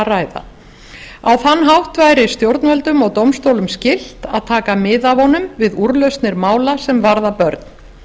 ræða á þann hátt væri stjórnvöldum og dómstólum skylt að taka mið af honum við úrlausnir mála sem varða börn